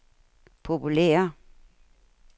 populære